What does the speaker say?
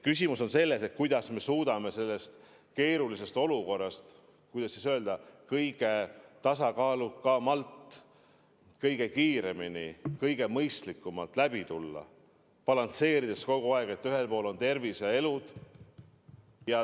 Küsimus on selles, kuidas me suudame sellest keerulisest olukorrast, kuidas öelda, kõige tasakaalukamalt, kõige kiiremini, kõige mõistlikumalt läbi tulla, balansseerides kogu aeg piiri peal, kus ühel pool on tervis ja elud.